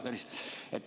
Hea Tõnis!